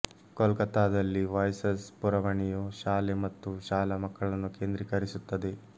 ಕೋಲ್ಕತ್ತಾದಲ್ಲಿ ವಾಯ್ಸಸ್ ಪುರವಣಿಯು ಶಾಲೆ ಮತ್ತು ಶಾಲಾ ಮಕ್ಕಳನ್ನು ಕೇಂದ್ರೀಕರಿಸುತ್ತದೆ